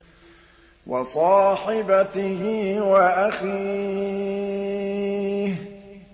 وَصَاحِبَتِهِ وَأَخِيهِ